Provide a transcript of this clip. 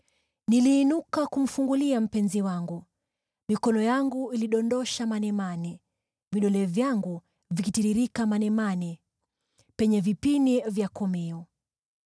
Niliinuka kumfungulia mpenzi wangu, mikono yangu ikidondosha manemane, vidole vyangu vikitiririka manemane, penye vipini vya komeo.